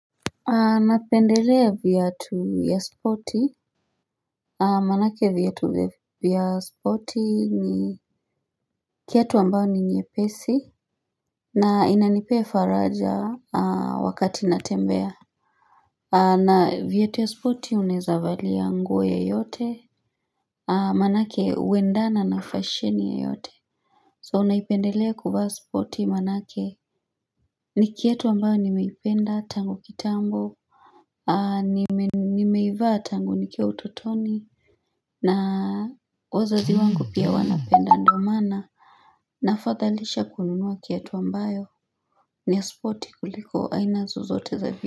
Napendelea viatu ya spoti Manake viatu vya spoti ni kiatu ambao ni nyepesi na inanipee faraja wakati natembea na viatu ya spoti unaeza valia nguo yeyote Manake huendana na fasheni yeyote. So naipendelea kuvaa spoti manake ni kiatu ambayo nimeipenda tangu kitambo. Nimeivaa tangu nikiwa utotoni na wazazi wangu pia wanapenda ndo maana Nafadhalisha kununua kiatu ambayo ni ya spoti kuliko aina zozote za vi.